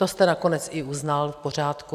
To jste nakonec i uznal, v pořádku.